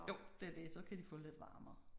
Jo det er det så kan de få lidt varmere